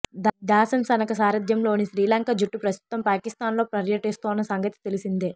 దాసన్ షణక సారథ్యంలోని శ్రీలంక జట్టు ప్రస్తుతం పాకిస్థాన్లో పర్యటిస్తోన్న సంగతి తెలిసిందే